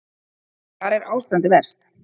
Hvar er ástandið verst?